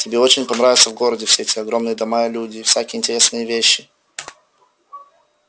тебе очень понравится в городе все эти огромные дома и люди и всякие интересные вещи